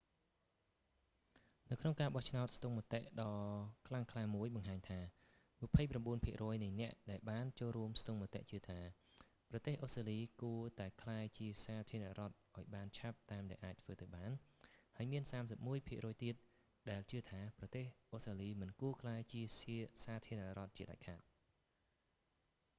នៅក្នុងការបោះឆ្នោតស្ទង់មតិដ៏ខ្លាំងក្លាមួយបង្ហាញថា 29 ភាគរយនៃអ្នកដែលបានចូលរួមស្ទង់មតិជឿថា ប្រទេសអូស្ដ្រាលី គួរតែក្លាយជាសាធារណរដ្ឋឱ្យបានឆាប់តាមដែលអាចធ្វើទៅបាន ហើយមាន 31 ភាគរយទៀត ជឿថា ប្រទេសអូស្ត្រាលី មិនគួរក្លាយជាសាធារណរដ្ឋជាដាច់ខាត